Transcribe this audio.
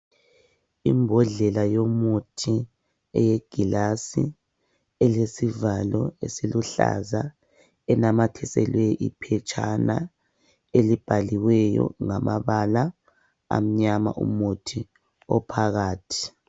Imbodlela yomuthi eyegilasi elesivalo esiluhlaza enamathiselwe iphetshana elibhaliweyo ngamabala amnyama umuthi ophakathi.